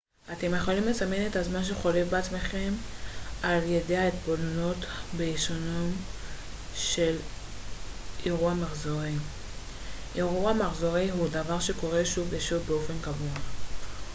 אתם יכולים לסמן את הזמן שחולף בעצמכם על ידי התבוננות בהישנות של אירוע מחזורי אירוע מחזורי הוא דבר שקורה שוב ושוב באופן קבוע